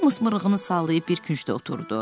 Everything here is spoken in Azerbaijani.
Tom mırığını sallayıb bir küncdə oturdu.